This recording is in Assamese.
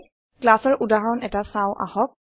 classৰ উদাহৰণ এটা চাওঁ আহক